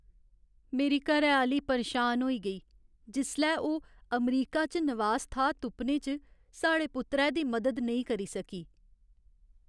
मेरी घरैआह्‌ली परेशान होई गेई जिसलै ओह् अमरीका च नवास थाह्र तुप्पने च साढ़े पुत्तरै दी मदद नेईं करी सकी।